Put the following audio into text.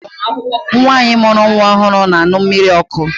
Nwaanyi mụrụ nwa ọhụrụ na-aṅụ mmiri ọkụ.